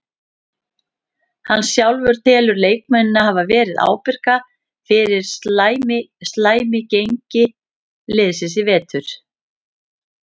Hann sjálfur telur leikmennina hafa verið ábyrga fyrir slæmi gengi liðsins í vetur.